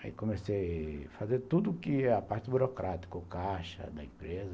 Aí comecei a fazer tudo que a parte burocrática ou caixa da empresa.